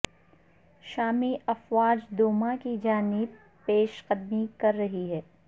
شامی افواج دوما کی جانب پیش قدمی کر رہی ہیں